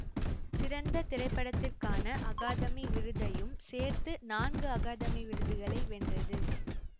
சிறந்த திரைப்படத்திற்கான அகாதமி விருதையும் சேர்த்து நான்கு அகாதமி விருதுகளை வென்றது